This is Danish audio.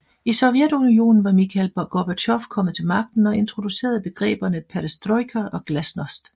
I Sovjetunionen var Mikhail Gorbatjov kommet til magten og introducerede begreberne Perestrojka og Glasnost